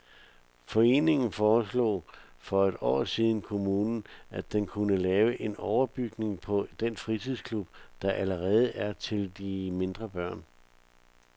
Foreningen foreslog for et år siden kommunen, at den kunne lave en overbygning på den fritidsklub, der allerede er til de mindre børn.